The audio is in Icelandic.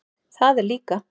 Það er líka.